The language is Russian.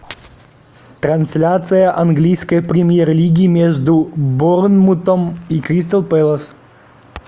трансляция английской премьер лиги между борнмутом и кристал пэлас